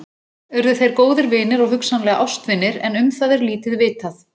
Urðu þeir góðir vinir og hugsanlega ástvinir en um það er lítið vitað.